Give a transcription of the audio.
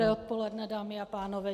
Dobré odpoledne, dámy a pánové.